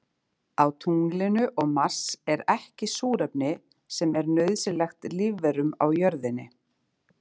Á tunglinu og Mars er ekki súrefni sem er nauðsynlegt lífverum á jörðinni.